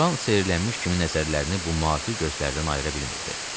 Loran seyrəlmiş kimi nəzərlərini bu müəllifi gözlərdən ayıra bilmirdi.